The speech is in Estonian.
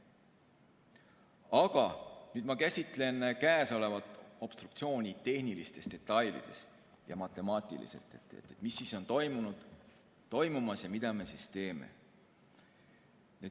Aga nüüd ma käsitlen käesolevat obstruktsiooni tehnilistes detailides ja matemaatiliselt, et mis on toimunud ja toimumas ja mida me siis teeme.